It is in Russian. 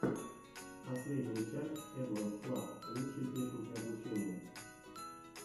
последняя часть эдванс клаб лучшие техники обучения